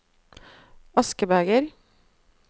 askebeger